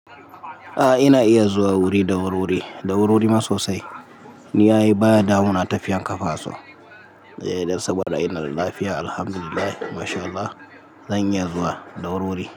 A'a ina iya zuwa wuri, ɗaururi, ɗaururi ma sosai. Ni ai baya damuna tafiyan ƙafafasu. Eh dan saboda ina da lafiya Alhamdulillah Masha Allah, zan iya zuwa da wurwuri.